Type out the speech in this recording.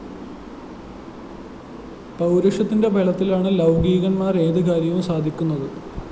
പൗരുഷത്തിന്റെ ബലത്തിലാണ് ലൗകീകന്മാര്‍ ഏതു കാര്യവും സാധിക്കുന്നത്